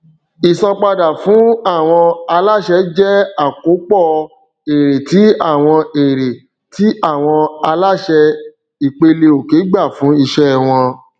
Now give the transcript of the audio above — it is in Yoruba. ìsanpadà fún àwọn aláṣẹ jẹ àkópọ èrè ti àwọn èrè ti àwọn aláṣẹ ìpeleòkè gbà fún iṣẹ wọn